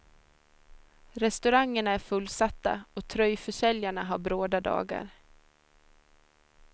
Restaurangerna är fullsatta och tröjförsäljarna har bråda dagar.